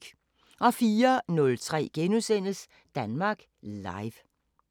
04:03: Danmark Live *